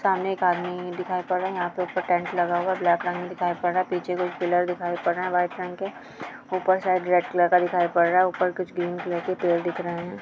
सामने एक आदमी दिखाई पड़ रहा है यहाँ पे एक ठो टेंट लगा हुआ ब्लैक रंग दिखाई पड़ रहा हैं पीछे कोई पिलर दिखाई पड रहा हैं व्हाइट रंग के ऊपर शायद रेड कलर का दिखाई पड़ रहा हैं ऊपर कुछ ग्रीन कलर के पेड़ दिख रहे हैं।